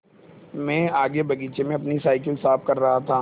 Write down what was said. मैं आगे बगीचे में अपनी साईकिल साफ़ कर रहा था